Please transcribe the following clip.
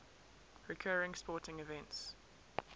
recurring sporting events